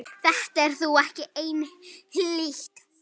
Þetta er þó ekki einhlítt.